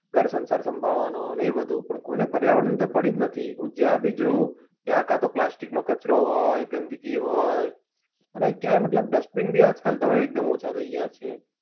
ઘર સંસાર સાંભળવાનો ને એ બધું પણ કોઈને પર્યાવરણ ની તો પડી જ નથી. હું જ્યાંય બી જાઉં ત્યાં કે તો plastic નો કચરો હોય ગંદગી હોય અને ક્યાંય મતલબ dustbin બી આજકાલ તો હવે એકદમ ઓછા થઇ ગયા છે.